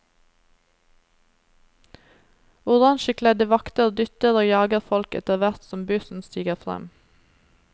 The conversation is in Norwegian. Orangekledde vakter dytter og jager folk etterhvert som bussen siger frem.